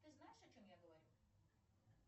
ты знаешь о чем я говорю